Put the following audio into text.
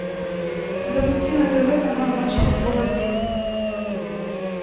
запусти на тв канал матч футбол один